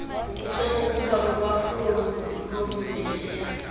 kusenokuba lulwaphulo lobumfihlelo